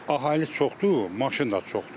Əhali çoxdur, maşın da çoxdur.